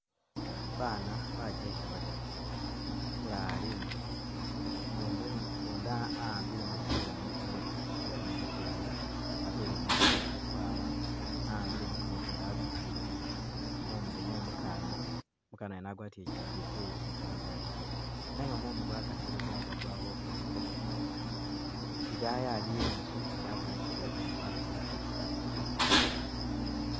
Bana bajeke badatu, umulala ali i'nyuma ngudu ngudi awambile mupila mu mu mukoono mukulayi atele mu mukwawa, a'ambile mukoono gundi a'bitisile mumilo mwo mukana, umukana yuno agwatile chiteteyi chitandalafu nenga mumu gwa kasile gwabokile ko i'dayi iliwo nzu yabonekele ye kamabati mategula